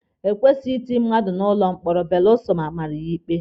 Ekwesịghị itinye mmadụ n'ụlọ mkpọrọ belụsọ amara ya ikpe.